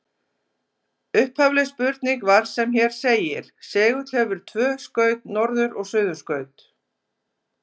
Upphafleg spurning var sem hér segir: Segull hefur tvö skaut, norður- og suðurskaut.